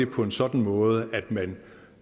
på en sådan måde at man